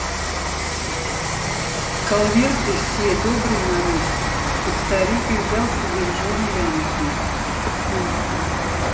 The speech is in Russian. калверты все добрый народ хоть старик и взял себе в жены янки